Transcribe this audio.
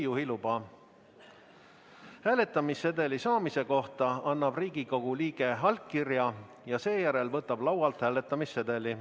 Hääletamissedeli saamise kohta annab Riigikogu liige allkirja ja seejärel võtab laualt hääletamissedeli.